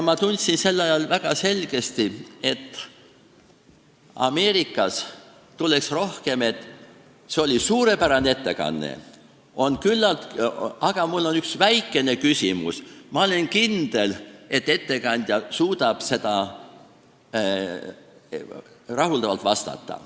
Ma tundsin sellisel juhul väga selgesti, et Ameerikas tuleks rohkem selliseid kommentaare, et see oli suurepärane ettekanne, aga mul on üks väikene küsimus ja ma olen kindel, et ettekandja suudab sellele rahuldavalt vastata.